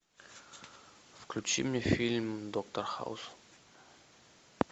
включи мне фильм доктор хаус